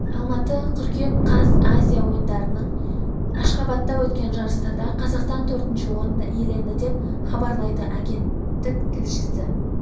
алматы қыркүйек қаз азия ойындарының ашхабадта өткен жарыстарда қазақстан төртінші орынды иеленді деп хабарлайды агенттік тілшісі